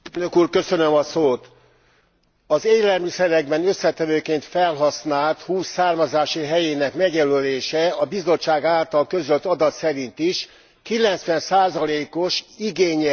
Az élelmiszerekben összetevőként felhasznált hús származási helyének megjelölése a Bizottság által közölt adat szerint is 90 os igénnyel bír a lakosság körében.